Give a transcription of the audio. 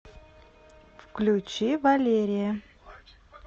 включи валерия